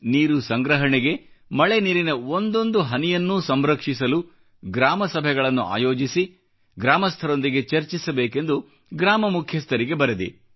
ನೀರು ಸಂಗ್ರಹಣೆಗೆ ಮಳೆ ನೀರಿನ ಒಂದೊಂದು ಹನಿಯನ್ನು ಸಂರಕ್ಷಿಸಲು ಗ್ರಾಮ ಸಭೆಗಳನ್ನು ಆಯೋಜಿಸಿ ಗ್ರಾಮಸ್ಥರೊಂದಿಗೆ ಚರ್ಚಿಸಬೇಕೆಂದು ಗ್ರಾಮ ಮುಖ್ಯಸ್ಥರಿಗೆ ಬರೆದೆ